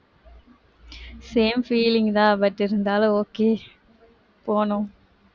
same feeling தான் but இருந்தாலும் okay போணும்